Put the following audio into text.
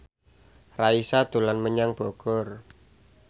Raisa dolan menyang Bogor